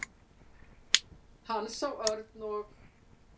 Hann sá Örn og